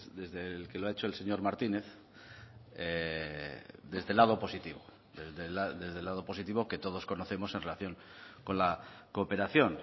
desde el que lo ha hecho el señor martínez desde el lado positivo desde el lado positivo que todos conocemos en relación con la cooperación